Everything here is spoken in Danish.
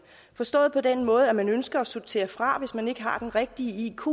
forstået på den måde at man ønsker at sortere børn fra som ikke har den rigtige iq